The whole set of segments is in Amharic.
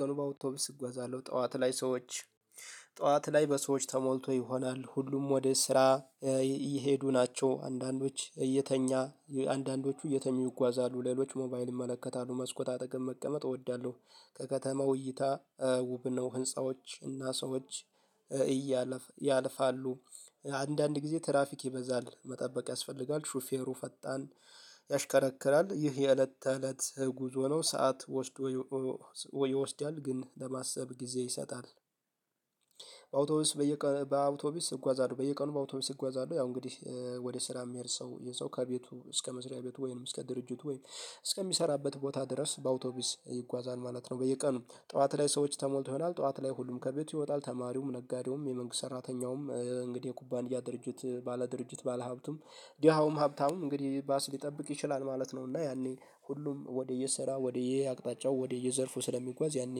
ቀኑ ባውቶብስ እጓዛለሁ ጠዋት ላይ ሰዎች ጠዋት ላይ በሰዎች ተሞልቶ ይሆናል ሁሉም ወደ ስራ እየሄዱ ናቸው። አንዳንዶች እየተኛ አንዳንዶቹ እየተኙ ይጓዛሉ ሌሎች ሞባይል ይመለከታሉ መስኮት አጠገብ መቀመጥ እወዳለሁ። ከከተማው እይታ ውብ ነው ህንፃዎች እና ሰዎች እያለ ያልፋሉ። አንዳንድ ጊዜ ትራፊክ ይበዛል መጠበቅ ያስፈልጋል። ሹፌሩ ፈጣን ያሽከረክራል ይህ የእለት ተእለት ጉዞ ነው። ሰዓት ወስዶ ይወስዳል ግን ለማሰብ ጊዜ ይሰጣል። በአውቶቡስ በየቀኑ በአውቶቡስ እጓዛለሁ በየቀኑ በአውቶቡስ እጓዛለሁ ያው እንግዲህ ወደ ስራ የሚሄድ ሰው ይህ ሰው ከቤቱ እስከ መስሪያ ቤቱ ወይንም እስከ ድርጅት ወይንም እስከሚሰራበት ቦታ ድረስ በአውቶቢስ ይጓዛል ማለት ነው። በየቀኑ ጠዋት ላይ ሰዎች ተሞልቶ ይሆናል ጠዋት ላይ ሁሉም ከቤቱ ይወጣል ተማሪውም ነጋዴውም የመንግስት ሰራተኛውም እንግዲህ የኩባንያ ድርጅት ባለድርጅት ባለሀብቱም ድሃውም ሀብታውም እንግዲህ ባስ ሊጠብቅ ይችላል ማለት ነው። እና ያኔ ሁሉም ወደየሰራ ወደየአቅጣጫው ወደየዘርፉ ስለሚጓዝ ያኔ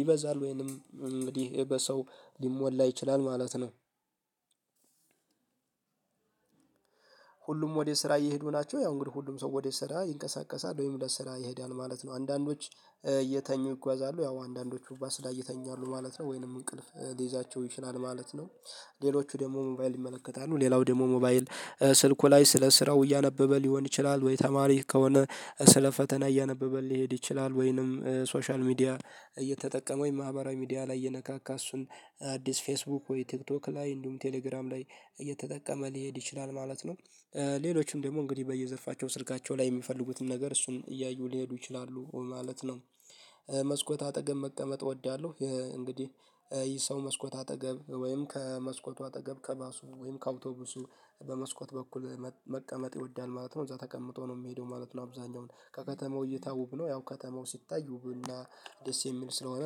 ይበዛል ወይንም እንግዲህ በሰው ሊሞላ ይችላል ማለት ነው። ሁሉም ወደ ስራ እየሄዱ ናቸው ያው እንግዲህ ሁሉም ሰው ወደ ስራ ይንቀሳቀሳል ወይም ለስራ ይሄዳል ማለት ነው አንዳንዶች እየተኙ ይጓዛሉ ያው አንዳንዶቹ ባስ ላይ ይተኛሉ ማለት ነው ወይንም እንቅልፍ ሊይዛቸው ይችላል ማለት ነው። ሌሎቹ ደግሞ ሞባይል ይመለከታሉ ሌላው ደግሞ ሞባይል ስልኩ ላይ ስለ ስራው እያነበበ ሊሆን ይችላል ወይ ተማሪ ከሆነ ስለ ፈተና እያነበበ ሊሄድ ይችላል ወይንም ሶሻል ሚዲያ እየተጠቀመ ወይም ማህበራዊ ሚዲያ ላይ እየነካካ እሱን አዲስ ፌስቡክ ወይ ቲክቶክ ላይ እንዲሁም ቴሌግራም ላይ እየተጠቀመ ሊሄድ ይችላል ማለት ነው። ሌሎችም ደግሞ እንግዲህ በየዘርፋቸው ስልካቸው ላይ የሚፈልጉትን ነገር እሱን እያዩ ሊሄዱ ይችላሉ ማለት ነው። አጠገብ መቀመጥ እወዳለሁ እንግዲህ ይህ ሰው መስኮት አጠገብ ወይም ከመስኮቱ አጠገብ ከባሱ ወይም ከአውቶቡሱ በመስኮት በኩል መቀመጥ ይወዳል ማለት ነው እዛ ተቀምጦ ነው የሚሄደው ማለት ነው። አብዛኛውን ከከተማው እይታ ውብ ነው ያው ከተማው ሲታይ ውብና ደስ የሚል ስለሆነ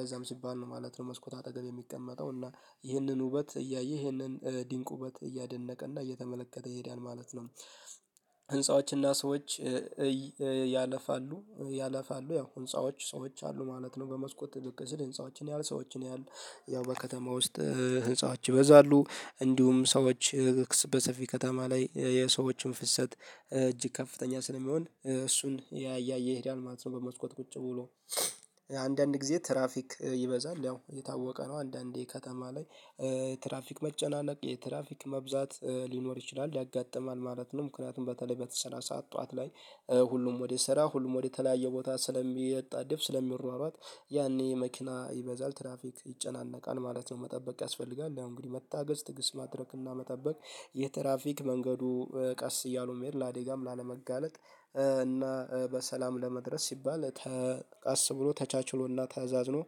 ለዛም ሲባል ነው ማለት ነው። መስኮት አጠገብ የሚቀመጠው እና ይህንን ውበት እያየ ይህንን ድንቁበት እያደነቀ እና እየተመለከተ ይሄዳል ማለት ነው። ህንፃዎችና ሰዎች ያለፋሉ ያለፋሉ ያው ህንፃዎች ሰዎች አሉ ማለት ነው በመስኮት ጥልቅ ስል ህንፃዎችን ያያል ሰዎችን ያያል ያው በከተማ ውስጥ ህንፃዎች ይበዛሉ እንዲሁም ሰዎች በሰፊ ከተማ ላይ የሰዎችን ፍሰት እጅግ ከፍተኛ ስለሚሆን እሱን እያየ ይሄዳል ማለት ነው። በመስኮት ቁጭ ብሎ አንዳንድ ጊዜ ትራፊክ ይበዛል ያው የታወቀ ነው አንዳንዴ ከተማ ላይ ትራፊክ መጨናነቅ የትራፊክ መብዛት ሊኖር ይችላል ያጋጥማል ማለት ነው። ምክንያቱም በተለይ በተሰራ ሰዓት ጠዋት ላይ ሁሉም ወደ ስራ ሁሉም ወደ ተለያየ ቦታ ስለሚያጣድፍ ስለሚሯሯጥ ያኔ መኪና ይበዛል ትራፊክ ይጨናነቃል ማለት ነው። መጠበቅ ያስፈልጋል ያው እንግዲህ መታገዝ ትግስ ማድረግና መጠበቅ የትራፊክ መንገዱ ቀስ እያሉ መሄድ ለአዴጋም ላለመጋለጥ እና በሰላም ለመድረስ ሲባል ተቀስ ብሎ ተቻችሎና ተዛዝኖ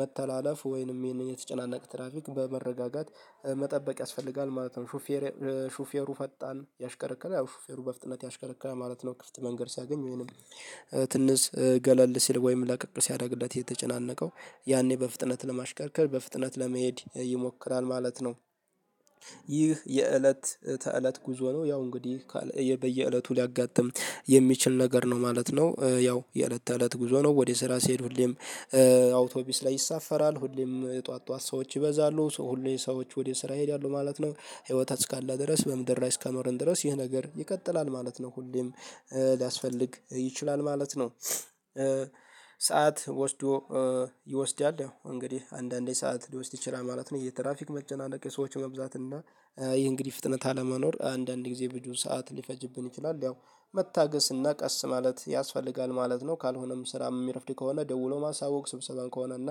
መተላለፍ ወይንም ይህንን የተጨናነቀ ትራፊክ በመረጋጋት መጠበቅ ያስፈልጋል ማለት ነው። ሹፌር ሹፌሩ ፈጣን ያሽከረከረ ሹፌሩ በፍጥነት ያሽከረክራል ማለት ነው ክፍት መንገድ ሲያገኝ ወይንም ትንሽ ገለል ሲል ወይም ለቀቅ ሲያደርግለት የተጨናነቀው ያኔ በፍጥነት ለማሽከርከር በፍጥነት ለመሄድ ይሞክራል ማለት ነው። ይህ የእለት ተእለት ጉዞ ነው ያው እንግዲህ በየእለቱ ሊያጋጥም የሚችል ነገር ነው ማለት ነው። ያው የእለት ተእለት ጉዞ ነው ወደ ስራ ሲሄዱ ሁሌም አውቶቢስ ላይ ይሳፈራል ሁሌም ጠዋት ጠዋት ሰዎች ይበዛሉ ሰው ሁሉ የሰዎች ወደ ስራ ይሄዳሉ ማለት ነው ህይወት እስካለ ድረስ በምድር ላይ እስከኖርን ድረስ ይህ ነገር ይቀጥላል ማለት ነው። ሁሌም ሊያስፈልግ ይችላል ማለት ነው። ሰዓት ወስዶ ይወስዳል እንግዲህ አንዳንዴ ሰዓት ሊወስድ ይችላል ማለት ነው። የትራፊክ መጨናነቅ የሰዎች መብዛት እና ይህ እንግዲህ ፍጥነት አለመኖር አንዳንድ ጊዜ ብዙ ሰዓት ሊፈጅብን ይችላል ያው መታገስና ቀስ ማለት ያስፈልጋል ማለት ነው። ካልሆነም ስራም የሚረፍድ ከሆነ ደውሎ ማሳወቅ ስብሰባን ከሆነ እና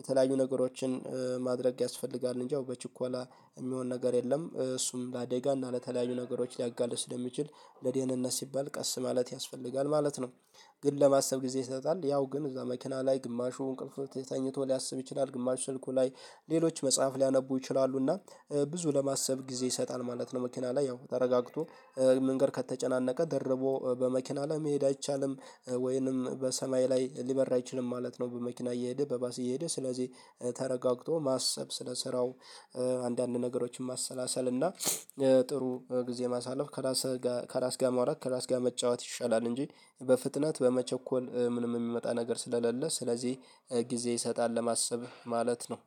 የተለያዩ ነገሮችን ማድረግ ያስፈልጋል እንጂ በችኮላ የሚሆን ነገር የለም። እሱም ለአዴጋ እና ለተለያዩ ነገሮች ሊያጋልጥ ስለሚችል ለደህንነት ሲባል ቀስ ማለት ያስፈልጋል ማለት ነው። ግን ለማሰብ ጊዜ ይሰጣል ያው ግን እዛ መኪና ላይ ግማሹ እንቅልፍ ተኝቶ ሊያስብ ይችላል ግማሽ ስልኩ ላይ ሌሎች መጽሐፍ ሊያነቡ ይችላሉና ብዙ ለማሰብ ጊዜ ይሰጣል ማለት ነው። መኪና ላይ ያው ተረጋግቶ መንገድ ከተጨናነቀ ደርቦ በመኪና ላይ መሄድ አይቻልም ወይንም በሰማይ ላይ ሊበራ አይችልም ማለት ነው። በመኪና እየሄደ በባስ እየሄደ ስለዚህ ተረጋግቶ ማሰብ ስለሰራው አንዳንድ ነገሮችን ማሰላሰል እና ጥሩ ጊዜ ማሳለፍ ከራስ ጋር ከራስ ጋር ማውራት ከራስ ጋር መጫወት ይሻላል። እንጂ በፍጥነት በመቸኮል ምንም የሚመጣ ነገር ስለሌለ ስለዚህ ጊዜ ይሰጣል ለማሰብ ማለት ነው።